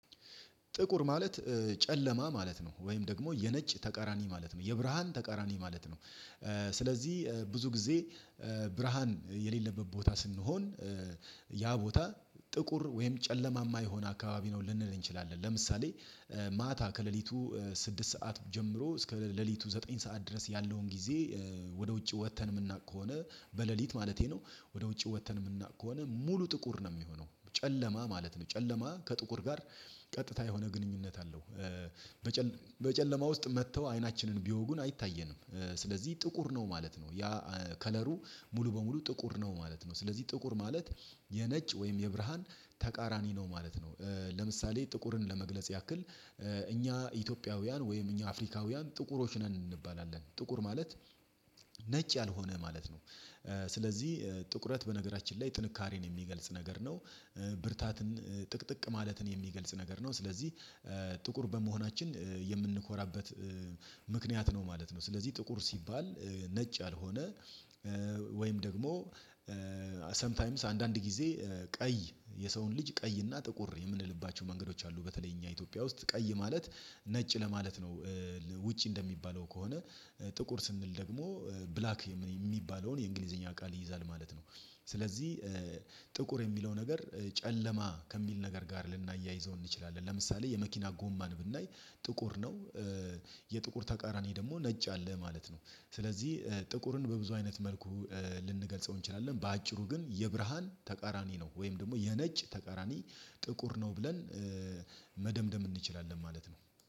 ጥቁር ማለት ጨለማ ማለት ነው ወይም ደግሞ የነጭ ተቃራኒ ማለት ነው የብርሃን ተቃራኒ ማለት ነው። ስለዚህ ብዙ ጊዜ ብርሃን የሌለበት ቦታ ስንሆን ያ ቦታ ጥቁር ወይም ጨለማማ የሆነ አካባቢ ነው ልንል እንችላለን። ለምሳሌ ማታ ከሌሊቱ ስድስት ሰዓት ጀምሮ እስከ ሌሊቱ ዘጠኝ ሰዓት ድረስ ያለውን ጊዜ ወደ ውጪ ወጠን የምናውቅ ከሆነ በሌሊት ማለቴ ነው ወደ ውጪ ወጠን የምናውቅ ከሆነ ሙሉ ጥቁር ነው የሚሆነው ጨለማ ማለት ነው። ጨለማ ከጥቁር ጋር ቀጥታ የሆነ ግንኙነት አለው። በጨለማ በጨለማ ውስጥ መጠው አይናችንን ቢወጉን አይታየንም ስለዚህ ጥቁር ነው ማለት ነው ያ ከለሩ ሙሉ በሙሉ ጥቁር ነው ማለት ነው። ስለዚህ ጥቁር ማለት የነጭ ወይም የብርሃን ተቃራኒ ነው ማለት ነው። ለምሳሌ ጥቁርን ለመግለጽ ያክል እኛ ኢትዮጵያውያን ወይም እኛ አፍሪካውያን ጥቁሮች ነን እንባላለን ጥቁር ማለት ነጭ ያልሆነ ማለት ነው። ስለዚህ ጥቁረት በነገራችን ላይ ጥንካሬን የሚገልጽ ነገር ነው ብርታትን ጥቅጥቅ ማለትን የሚገልጽ ነገር ነው ስለዚህ ጥቁር በመሆናችን የምንኮራበት ምክንያት ነው ማለት ነው። ስለዚህ ጥቁር ሲባል ነጭ ያልሆነ ወይም ደግሞ ሳምታይምስ አንዳንድ ጊዜ ቀይ የሰውን ልጅ ቀይና ጥቁር የምንልባቸው መንገዶች አሉ በተለይ እኛ ኢትዮጵያ ውስጥ ቀይ ማለት ነጭ ለማለት ነው። ውጪ እንደሚባለው ከሆነ ጥቁር ስንል ደግሞ ብላክ የሚባለውን የእንግሊዘኛ ቃል ይይዛል ማለት ነው። ስለዚህ ጥቁር የሚለው ነገር ጨለማ ከሚል ነገር ጋር ልናያይዘው እንችላለን ለምሳሌ የመኪና ጎማን ብናይ ጥቁር ነው። የጥቁር ተቃራኒ ደግሞ ነጭ አለ ማለት ነው ስለዚህ ጥቁርን በብዙ አይነት መልኩ ልንገልጸው እንችላለን በአጭሩ ግን የብርሃን ተቃራኒ ነው ወይም ደግሞ የነጭ ተቃራኒ ጥቁር ነው ብለን መደምደም እንችላለን ማለት ነው።